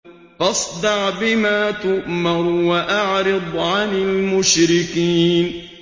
فَاصْدَعْ بِمَا تُؤْمَرُ وَأَعْرِضْ عَنِ الْمُشْرِكِينَ